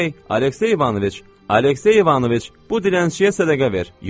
Ey, Aleksey İvanoviç, Aleksey İvanoviç, bu dilənçiyə sədəqə ver.